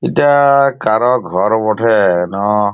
এটা-আ কারোর ঘর বটে-এ না--